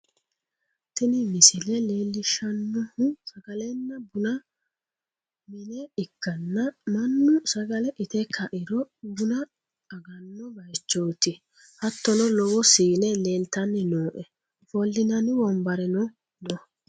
Tini misile leellishshannohu sagalenna bunu mine ikkanna, mannu sagale ite ka'iro buna aganno bayichooti, hattono lowo siine leeltanni nooe ofollinanni wonbareno no.